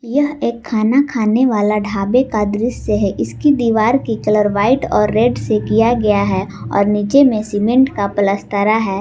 यह एक खाना खाने वाला ढाबे का दृश्य है इसकी दीवार की कलर व्हाइट और रेड से किया गया है और नीचे में सीमेंट का पलस्तरा है।